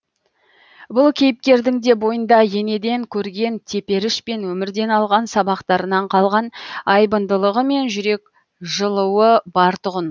бұл кейіпкердің де бойында енеден көрген теперіш пен өмірден алған сабақтарынан қалған айбындылығы мен жүрек жылуы бар тұғын